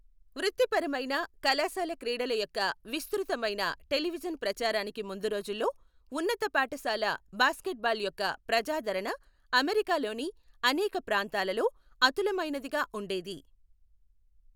వృత్తిపరమైన, కళాశాల క్రీడల యొక్క విస్తృతమైన టెలివిజన్ ప్రచారానికి ముందు రోజుల్లో, ఉన్నత పాఠశాల బాస్కెట్బాల్ యొక్క ప్రజాదరణ అమెరికాలోని అనేక ప్రాంతాలలో అతులమైనదిగా ఉండేది.